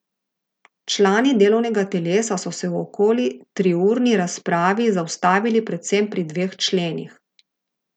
Člani delovnega telesa so se v okoli triurni razpravi zaustavili predvsem pri dveh členih.